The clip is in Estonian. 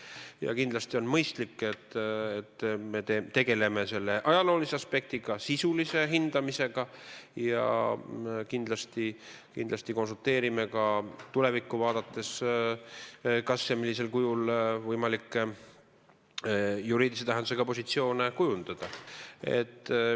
Ja kindlasti on mõistlik, et me tegeleksime selle ajaloolise aspektiga, sisulise hindamisega ja konsulteeriksime ka tulevikku vaadates, kas ja millisel kujul on võimalik juriidilise tähendusega positsioone kujundada.